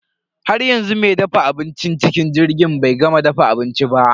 Haryanzu me dafa abincin cikin jirgin bai gama dafa abinci ba.